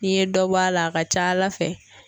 N'i ye dɔ bɔ a la a ka ca Ala fɛ